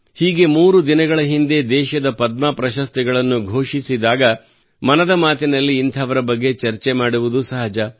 ಹೀಗೆ ಮೂರು ದಿನಗಳ ಹಿಂದೆ ದೇಶದ ಪದ್ಮ ಪ್ರಶಸ್ತಿಗಳನ್ನು ಘೋಷಿಸಿದಾಗ ಮನದ ಮಾತಿನಲ್ಲಿ ಇಂಥವರ ಬಗ್ಗೆ ಚರ್ಚೆ ಮಾಡುವುದು ಸಹಜ